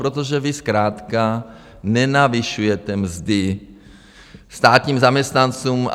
Protože vy zkrátka nenavyšujete mzdy státním zaměstnancům.